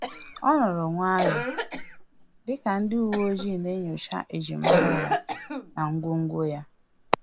O nọrọ nwayọọ dịka ndị uwe ojii na enyocha ejimara ya na ngwongwo ya